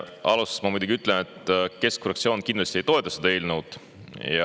Alustuseks ma muidugi ütlen, et keskfraktsioon kindlasti ei toeta seda eelnõu.